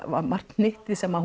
var margt hnyttið sem